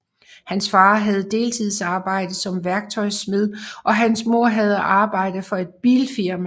Hans far havde deltidsarbejde som værktøjsmed og hans mor havde arbejde for et bilfirma